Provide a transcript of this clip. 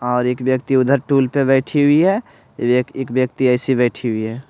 और एक व्यक्ति उधर टूल पे बैठी हुई है एक व्यक्ति ऐसी बैठी हुई है।